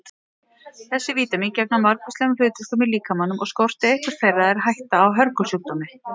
Þessi vítamín gegna margvíslegum hlutverkum í líkamanum og skorti eitthvert þeirra er hætta á hörgulsjúkdómi.